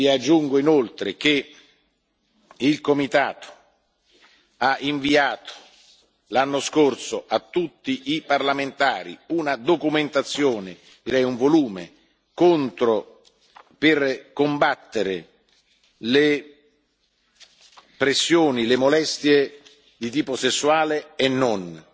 Aggiungo inoltre che il comitato ha inviato l'anno scorso, a tutti i parlamentari, una documentazione, direi un volume, per combattere le pressioni e le molestie di tipo sessuale e non.